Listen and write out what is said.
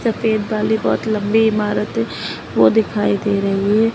Straight वाली बहुत लंबी इमारत है वो दिखाई दे रही है।